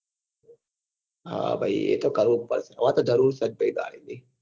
હા ભાઈ એ તો કરવું જ પડશે હવે તો જરૂર છે જ ભાઈ ગાડી ની